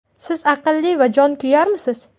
Siz aqlli va jonkuyarmisiz?